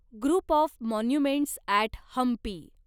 group of monuments at Hampi